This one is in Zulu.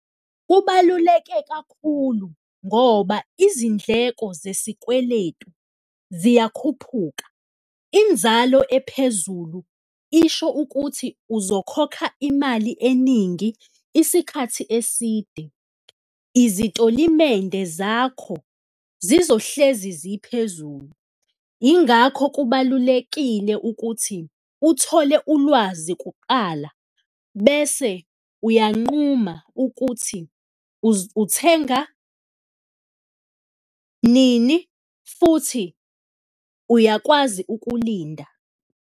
Kubaluleke kakhulu ngoba izindleko zesikweletu ziyakhuphuka. Inzalo ephezulu isho ukuthi uzokhokha imali eningi isikhathi eside, izitolimende zakho zizohlezi ziphezulu, yingakho kubalulekile ukuthi uthole ulwazi kuqala bese uyanquma ukuthi uthenga nini futhi uyakwazi ukulinda.